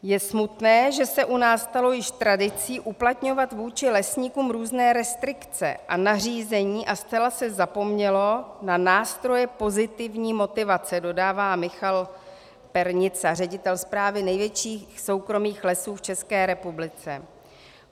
Je smutné, že se u nás stalo již tradicí uplatňovat vůči lesníkům různé restrikce a nařízení a zcela se zapomnělo na nástroje pozitivní motivace, dodává Michal Pernica, ředitel správy největších soukromých lesů v České republice.